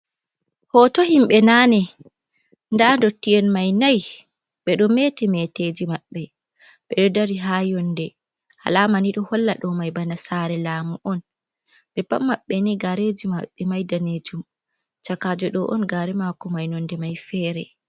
Hoto himɓɓe nane nda dottiyen mai nai ɓeɗo mete meteji maɓɓe ɓedo dari ha yonde alama ni ɗo holla ɗo mai bana sare laamu on ɓe paɓ maɓɓe ni gareji maɓɓe mai danejum chakajo ɗo on gare mako mai nonde mai fere.